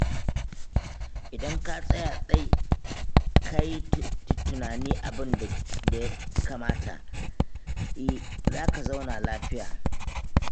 Idan ka tsaya tsai ka yi tunanin abin da ya kamata, za ka zauna lafiya.